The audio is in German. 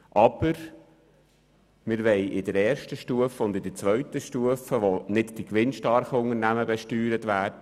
Aber wir wollen in der ersten und zweiten Stufe entlasten, nämlich dort, wo nicht die gewinnstarken Unternehmen, sondern viele KMU besteuert werden.